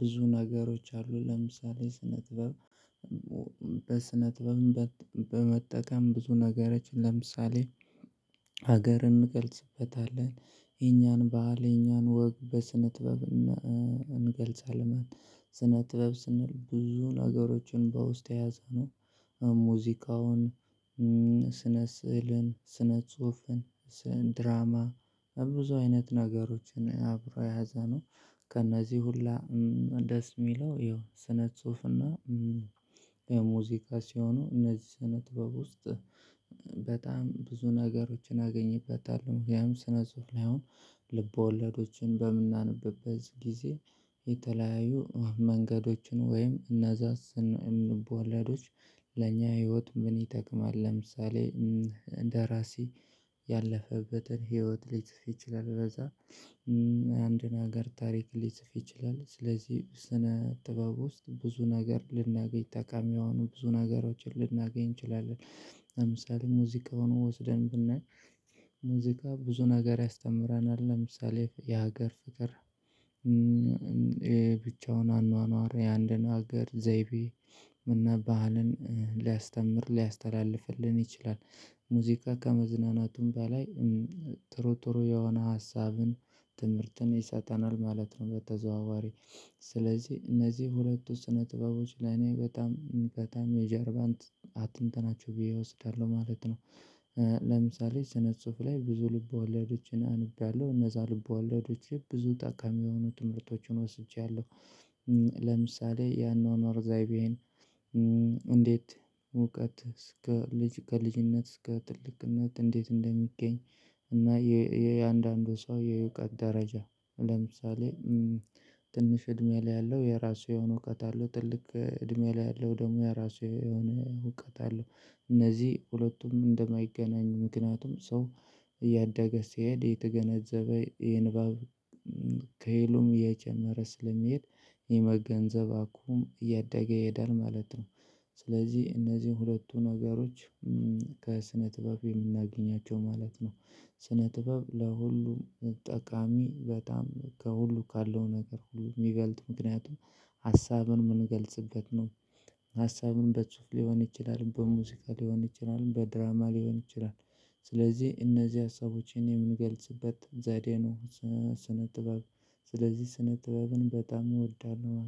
ብዙ ነገሮች አሉ ለምሳሌ ስነ ጥበብ። በስነ ጥበብም በመጠቀም ብዙ ነገሮችን ለምሳሌ ሀገር እንገልጽበታለን የኛን ባህል የኛን ወግ በስነ ጥበብ እንገልጻለን። ስነ ጥበብ ስንል ብዙ ነገሮችን በውስጡ የያዘ ነው። ሙዚቃውን ስነ ስዕልን ስነ ጽሁፍን ድራማ ብዙ አይነት ነገሮችን አብሮ የያዘነው። ከእነዚህ ሁላ ደስ የሚለው ያው ስነ ጽሁፍና ሙዚቃ ሲሆኑ እነዚህ ስነ ጥበብ ውስጥ በጣም ብዙ ነገሮችን አገኝበታለሁ። ምክንያቱም ስነ ጽሁፍ ላይ አሁን ልቦለዶችን በምናነብበት ጊዜ የተለያዩ መንገዶችን ወይም እነዛስ ልብወለዶች ለኛ ህይወት ምን ይጠቅማል? ለምሳሌ ደራሲ ያለፈበትን ህይወት ሊጽፍ ይችላል ከዛ አንድን ሀገር ታሪክ ሊጽፍ ይችላል። ስለዚህ ስነ ጥበብ ውስጥ ብዙ ነገር ልናገኝ ጠቃሚ የሆኑ ብዙ ነገሮችን ልናገኝ እንችላለን። ለምሳሌ ሙዚቃውን ወስደን ብናይ ሙዚቃ ብዙ ነገር ያስተምረናል ለምሳሌ የሀገር ፍቅር ብቻውን አኗኗር የአንድን ሀገር ዘይቤ እና ባህልን ሊያስተምር ሊያስተላልፍልን ይችላል። ሙዚቃ ከመዝናናቱም በላይ ጥሩ ጥሩ የሆነ ሀሳብን ትምህርትን ይሰጠናል ማለት ነው። በተዘዋዋሪ ስለዚህ እነዚህ ሁለቱ ስነ ጥበቦች ለኔ በጣም በጣም የጀርባንት አጥንት ናቸው ብዬ እወስዳለሁ ማለት ነው። ለምሳሌ ስነ ጽሁፍ ላይ ብዙ ልብ ወለዶችን አንብቤያለሁ እነዛ ልብ ወለዶች ብዙ ጠቃሚ የሆኑ ትምህርቶቹን ወስጃለሁ። ለምሳሌ ያኗኗር ዘይቤን እንዴት እውቀት ከልጅነት እስከ ትልቅነት እንዴት እንደሚገኝ እና የእያንዳንዱ ሰው የእውቀት ደረጃ ለምሳሌ ትንሽ እድሜ ላይ ያለው የራሱ የሆነ እውቀት አለው። ትልቅ እድሜ ላይ ያለው ደግሞ የራሱ የሆነ እውቀት አለው። እነዚህ ሁለቱም እንደማይገናኙ ምክንያቱም ሰው እያደገ ሲሄድ እየተገነዘበ የንባብ ከሄሉም እየጨመረ ስለሚሄድ የመገንዘብ አቅሙም እያደገ ይሄዳል ማለት ነው። ስለዚህ እነዚህን ሁለቱ ነገሮች ከስነ ጥበብ የምናገኛቸው ማለት ነው። ስነ ጥበብ ለሁሉም ጠቃሚ በጣም ከሁሉ ካለው ነገር ሁሉ የሚበልጥ ምክንያቱም ሀሳብን የምንገልጽበት ነው። ሀሳብን በጽሁፍ ሊሆን ይችላል በሙዚቃ ሊሆን ይችላል በድራማ ሊሆን ይችላል። ስለዚህ እነዚህ ሀሳቦችን የምገልጽበት ዘዴ ነው። ስነ ጥበብ ስለዚህ ስነ ጥበብን በጣም እወዳለሁ